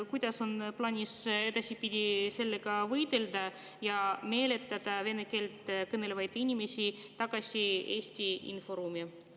Kuidas on plaanis edaspidi sellega võidelda ja meelitada vene keelt kõnelevaid inimesi tagasi Eesti inforuumi?